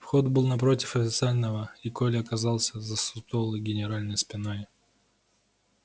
вход был напротив официального и коля оказался за сутулой генеральской спиной